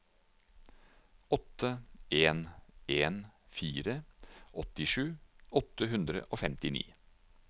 åtte en en fire åttisju åtte hundre og femtini